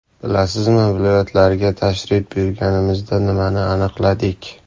Bilasizmi, viloyatlarga tashrif buyurganimizda nimani aniqladik?